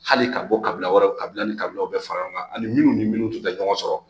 Hali ka bɔ kabila wɛrɛ kabila ni kabilaw bɛɛ fara ɲɔgɔn kan ani minnu ni minnu tun tɛ ɲɔgɔn sɔrɔ